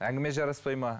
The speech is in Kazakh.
әңгіме жараспай ма